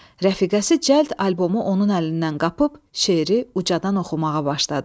Rəfiqəsi cəld albomu onun əlindən qapıb şeiri ucadan oxumağa başladı.